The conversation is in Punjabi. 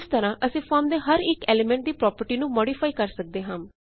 ਇਸ ਤਰਹ ਅਸੀਂ ਫੋਰਮ ਦੇ ਹਰ ਇਕ ਐਲੀਮੇੰਟ ਦੀ ਪ੍ਰੌਪਰਟੀ ਨੂੰ ਮੌਡਿਫਾਈ ਕਰ ਸਕਦੇ ਹਾਂ